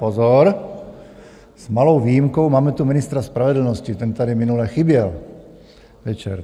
Pozor, s malou výjimkou - máme tu ministra spravedlnosti, ten tady minule chyběl večer.